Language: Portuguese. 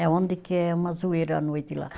É onde que é uma zoeira à noite lá.